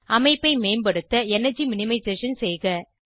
அமைப்பை மேம்படுத்த energy minimisation செய்க